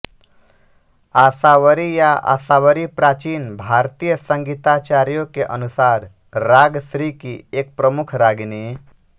आसावरी या आसावरी प्राचीन भारतीय संगीताचार्यों के अनुसार राग श्री की एक प्रमुख रागिनी